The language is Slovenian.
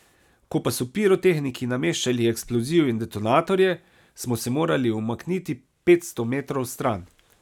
Ko pa so pirotehniki nameščali eksploziv in detonatorje, smo se morali umakniti petsto metrov stran.